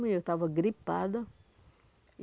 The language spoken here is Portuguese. Eu estava gripada.